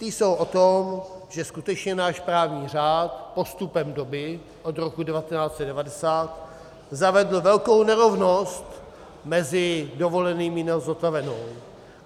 Ty jsou o tom, že skutečně náš právní řád postupem doby, od roku 1990, zavedl velkou nerovnost mezi dovolenými na zotavenou.